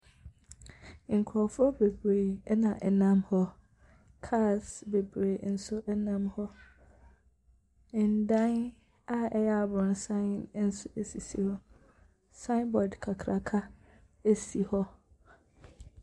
Nkurɔfoɔ bebree na ɛnam hɔ, cars nso nam hɔ. Adan a ɛyɛ abrɔsan nso sisi hɔ, signboard kakraka si wɔ.